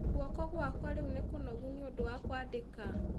Guoko gwakwa rĩu nĩkũnogu nĩ ũndũ wa kwandĩka